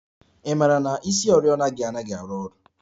I mara na isioriọna gị anaghị arụ ọrụ?